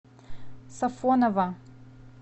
сафоново